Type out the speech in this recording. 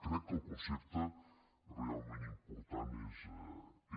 crec que el concepte realment important és aquest